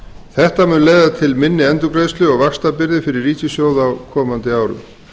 þetta mun leiða til minni endurgreiðslu og vaxtabyrði fyrir ríkissjóð á komandi árum